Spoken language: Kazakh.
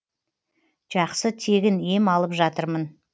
жақсы тегін ем алып жатырмын